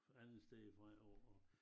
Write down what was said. Alle steder fra jo og